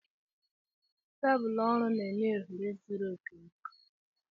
Tebụl ọrụ na-enye ohere zuru oke maka ọrụ.